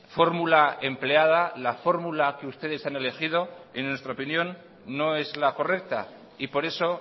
fórmula empleada la fórmula que ustedes han elegido en nuestra opinión no es la correcta y por eso